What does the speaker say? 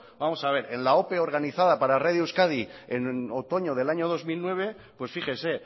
vamos a ver en la ope organizada para radio euskadi en otoño del año dos mil nueve pues fíjese